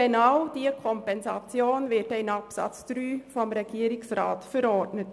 Genau diese Kompensation wird dann in Absatz 3 vom Regierungsrat verordnet.